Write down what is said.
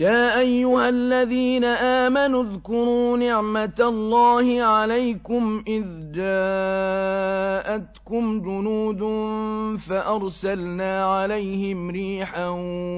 يَا أَيُّهَا الَّذِينَ آمَنُوا اذْكُرُوا نِعْمَةَ اللَّهِ عَلَيْكُمْ إِذْ جَاءَتْكُمْ جُنُودٌ فَأَرْسَلْنَا عَلَيْهِمْ رِيحًا